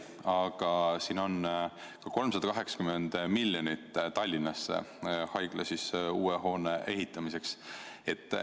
Aga siin on ka 380 miljonit Tallinnasse uue haiglahoone ehitamiseks.